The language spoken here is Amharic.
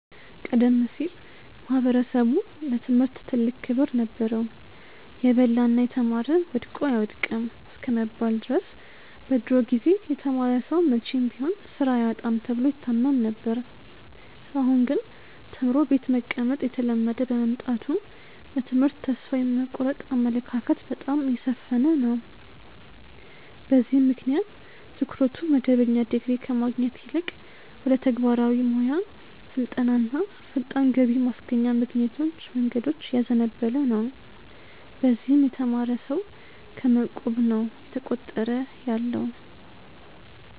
ቀደም ሲል ማኅበረሰቡ ለትምህርት ትልቅ ክብር ነበረው። "የበላና የተማረ ወድቆ አይወድቅም" እስከመባል ድረስ በድሮ ጊዜ የተማረ ሰው መቼም ቢሆን ሥራ አያጣም ተብሎ ይታመን ነበር። አሁን ግን ተምሮ ቤት መቀመጥ እየተለመደ በመምጣቱ በትምህርት ተስፋ የመቁረጥ አመለካከት በጣም እየሰፈነ ነው። በዚህም ምክንያት ትኩረቱ መደበኛ ዲግሪ ከማግኘት ይልቅ ወደ ተግባራዊ ሞያ ስልጠናና ፈጣን ገቢ ማስገኛ መንገዶች እያዘነበለ ነው። በዚህም የተማረ ሰው ከመ ቁብ ነው እየተቆጠረ ያለው።